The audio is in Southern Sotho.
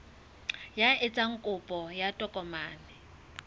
ya etsang kopo ya tokomane